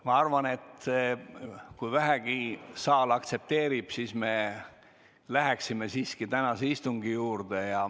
Ma arvan, et kui saal vähegi aktsepteerib, siis me läheme siiski tänase istungi päevakorra juurde.